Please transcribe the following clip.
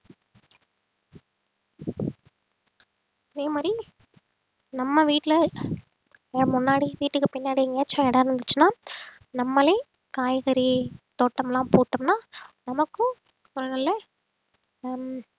இதே மாதிரி நம்ம வீட்டுல முன்னாடி வீட்டுக்கு பின்னாடி எங்க இடம் இருந்துச்சுன்னா நம்மளே காய்கறி தோட்டமெல்லாம் போட்டோம்ன்னா நமக்கும் ஒரு நல்ல ஹம்